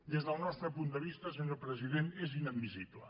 des del nostre punt de vista senyor president és inadmissible